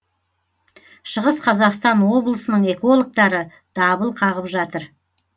шығыс қазақстан облысының экологтары дабыл қағып жатыр